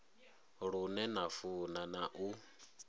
lune na funa na u